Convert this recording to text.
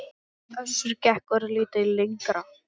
Össur gekk örlítið lengra.